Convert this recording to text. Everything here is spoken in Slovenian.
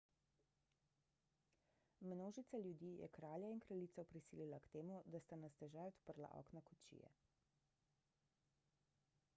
množica ljudi je kralja in kraljico prisilila k temu da sta na stežaj odprla okna kočije